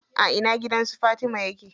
A ina gidan su Fatima yake?